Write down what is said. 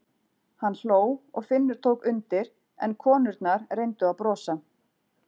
Hann hló og Finnur tók undir en konurnar reyndu að brosa.